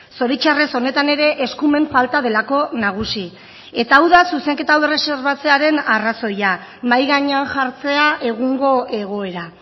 zoritzarrez honetan ere eskumen falta delako nagusi eta hau da zuzenketa hau erreserbatzearen arrazoia mahai gainean jartzea egungo egoera